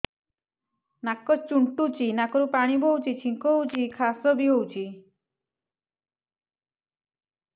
ନାକ ଚୁଣ୍ଟୁଚି ନାକରୁ ପାଣି ବହୁଛି ଛିଙ୍କ ହଉଚି ଖାସ ବି ହଉଚି